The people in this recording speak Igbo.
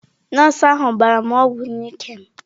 Nọọsụ ahụ gbara m ọgwụ n'ike m.